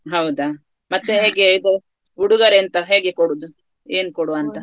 ಹೌದಾ ಮತ್ತೆ ಹೇಗೆ ಇದು ಉಡುಗೊರೆಯೆಂತ ಹೇಗೆ ಕೊಡೋದು ಏನ್ ಕೊಡುವಂತ.